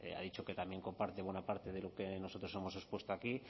ha dicho que también comparte buena parte de lo que nosotros hemos expuesto aquí